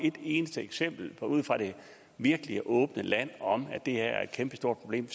et eneste eksempel ude fra det virkelige åbne land om at det her er et kæmpestort problem